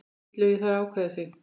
Illugi þarf að ákveða sig.